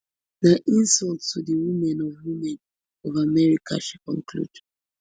na insult to di women of women of america she conclude